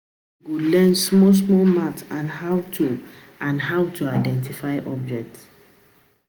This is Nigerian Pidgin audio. Pikin go learn small small maths and how to and how to identify objects